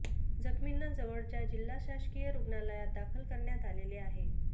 जखमींना जवळच्या जिल्हा शासकीय रुग्णालयात दाखल करण्यात आलेले आहे